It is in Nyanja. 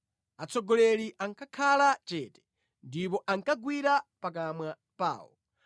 atsogoleri ankakhala chete ndipo ankagwira pakamwa pawo;